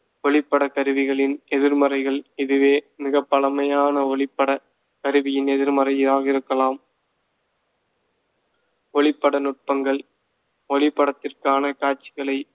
ஒளிப்படக் கருவிகளின் எதிர்மறைகள், இதுவே மிகப்பழமையான ஒளிப்படக் கருவியின் எதிர்மறையாக இருக்கலாம் ஒளிப்பட நுட்பங்கள் ஒளிப்படத்திற்கான காட்சிகளைப்